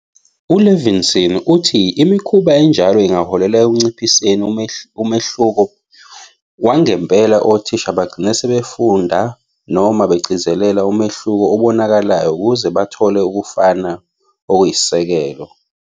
U-Levinson uthi imikhuba enjalo ingaholela "ekunciphiseni umehluko wangempela, othisha bagcina sebefunda noma bagcizelele umehluko obonakalayo ukuze bathole ukufana okuyisisekelo".